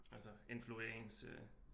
Altså influere ens øh